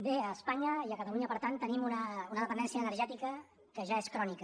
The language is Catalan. bé a espanya i a catalunya per tant tenim una dependència energètica que ja és crònica